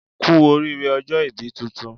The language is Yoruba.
Kú oríire ọjọ́ ibí tuntun